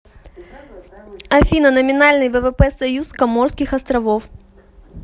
афина номинальный ввп союз коморских островов